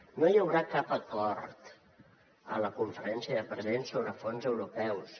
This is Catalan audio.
no hi haurà cap acord a la conferència de presidents sobre fons europeus